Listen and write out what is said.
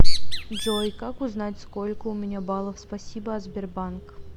джой как узнать сколько у меня баллов спасибо от сбербанк